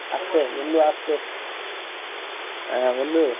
আস্তে বন্ধু আস্তে আহ বন্ধু তালে